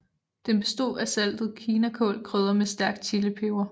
Den bestod af saltet kinakål krydret med stærk chilipeber